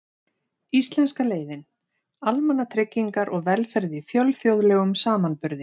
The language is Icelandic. Íslenska leiðin: Almannatryggingar og velferð í fjölþjóðlegum samanburði.